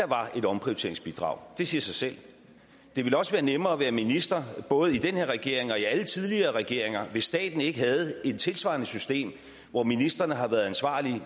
var et omprioriteringsbidrag det siger sig selv det ville også være nemmere at være minister både i den her regering og i alle tidligere regeringer hvis staten ikke havde et tilsvarende system hvor ministrene har været ansvarlige